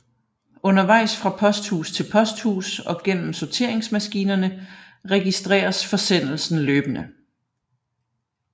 Undervejs fra posthus til posthus og gennem sorteringsmaskinerne registreres forsendelsen løbende